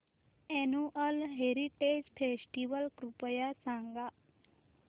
annual heritage festival कृपया सांगा